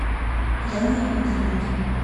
яной игоревной